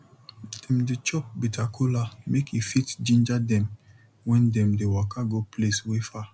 dem dey chop bitter kola make e fit ginger dem when dem dey waka go place wey far